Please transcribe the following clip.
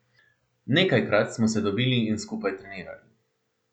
Nekajkrat smo se dobili in skupaj trenirali.